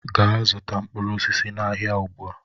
Gaa zụta mkpụrụ osisi n'ahịa ugbu a!